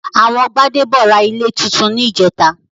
Àwọn Gbádébọ̀ ra ilé túntún ní ìjẹ́ta